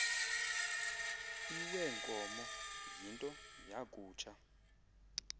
iweenkomo yinto yakutsha